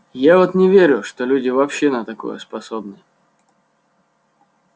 я вот не верю что люди вообще на такое способны